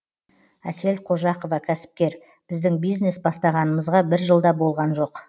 асел қожақова кәсіпкер біздің бизнес бастағанымызға бір жыл да болған жоқ